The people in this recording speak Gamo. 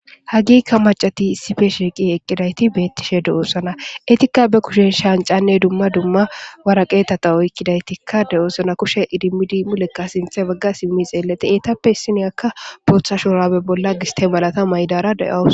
Ha gigga macayi issi bolla shiqqi eqqida eti beetidi de'osona.etika na kushen shanxane dumma dumma woraqateta oyiqida dees.kushe idimidi mule asika sintha bagga xelidi etappe issiniyak botha shurabe mayada a bolla giste mala mayidara dawus.